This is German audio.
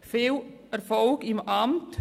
Viel Erfolg im Amt.